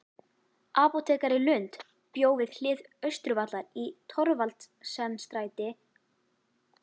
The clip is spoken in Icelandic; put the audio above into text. Apótekari Lund bjó við hlið Austurvallar í Thorvaldsensstræti